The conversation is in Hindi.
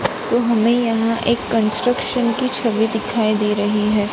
तो हमें यहां एक कंस्ट्रक्शन की छवि दिखाई दे रही है।